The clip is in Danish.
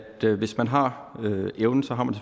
hvis man har evnen har man